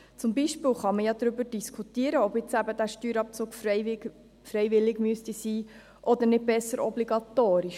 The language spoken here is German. Zum Beispiel kann man darüber diskutieren, ob dieser Steuerabzug freiwillig sein müsste oder nicht besser obligatorisch.